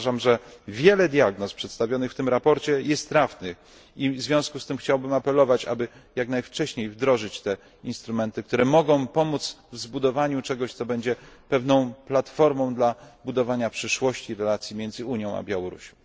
Uważam, że wiele diagnoz przedstawionych w tym sprawozdaniu jest trafnych, i w związku z tym chciałbym apelować, aby jak najwcześniej wdrożyć instrumenty, które mogą pomóc w zbudowaniu czegoś, co będzie pewną platformą do budowania przyszłości w relacji między Unia Europejska a Białorusią.